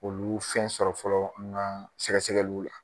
Olu fɛn sɔrɔ fɔlɔ ŋa sɛgɛsɛgɛluw la